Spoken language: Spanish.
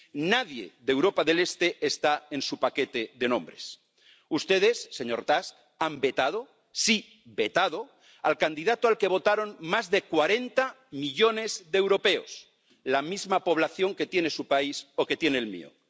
Nadie de Europa del Este está en su paquete de nombres. Ustedes, señor Tusk, han vetado ―sí, vetado― al candidato al que votaron más de cuarenta millones de europeos, la misma población que tiene su país o que tiene el mío.